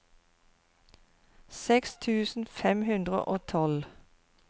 seks tusen fem hundre og tolv